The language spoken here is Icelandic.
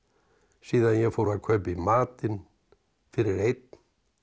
síðan ég fór að kaupa í matinn fyrir einn